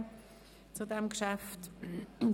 Er möchte sich auch nicht äussern.